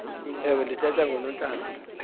ewe ndithetha ngoonontlalo